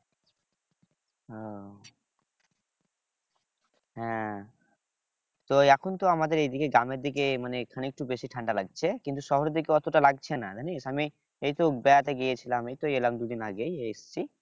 ও হ্যাঁ তো এখন তো আমাদের এই দিকে গ্রামের দিকে মানে এখানে একটু বেশি ঠান্ডা লাগছে কিন্তু শহরের দিকে অতটা লাগছে না জানিস আমি এইতো বেড়াতে গিয়েছিলাম এই তো এলাম দুইদিন আগে এই এসছি